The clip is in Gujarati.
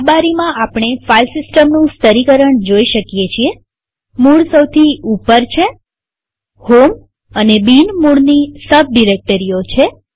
આ સ્લાઈડમાંઆપણે ફાઈલ સિસ્ટમનું સ્તરીકરણ જોઈ શકીએ છીએમૂળ સૌથી ઉપર છેહોમ અને બિન મૂળની સબ ડિરેક્ટરીઓ છે